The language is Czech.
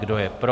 Kdo je pro?